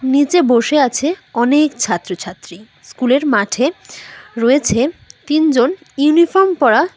নীচে বসে আছে অনেক ছাত্র ছাত্রী স্কুল -এর মাঠে রয়েছে তিনজন ইউনিফর্ম পরা --